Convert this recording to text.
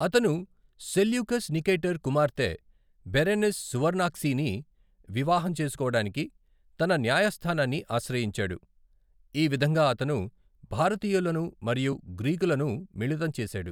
అతను Seleucus Nicator కుమార్తె Berenice సువర్నాక్సీని వివాహం చేసుకోవడానికి తన న్యాయస్థానాన్ని ఆశ్రయించాడు, ఈ విధంగా అతను భారతీయులను మరియు గ్రీకులను మిళితం చేసాడు.